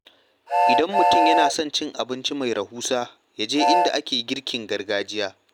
Idan mutum yana son cin abinci mai rahusa, ya je inda ake girkin gargajiya.